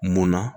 Munna